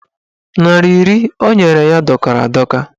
Narị iri o nyere ya dọkara adọka.